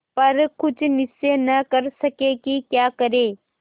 पर कुछ निश्चय न कर सके कि क्या करें